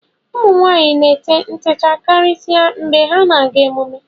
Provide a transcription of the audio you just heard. ụmụ nwaanyị na-ete ntechaa karịsịa mgbe ha na-aga emume